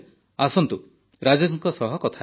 ଆସନ୍ତୁ ରାଜେଶଙ୍କ ସହ କଥା ହେବା